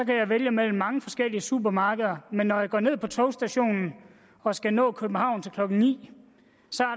kan jeg vælge mellem mange forskellige supermarkeder men når jeg går ned på togstationen og skal nå til københavn til klokken ni